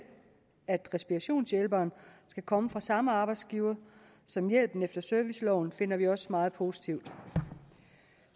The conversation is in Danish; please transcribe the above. at respirationshjælperen skal komme fra samme arbejdsgiver som hjælpen efter serviceloven finder vi også meget positiv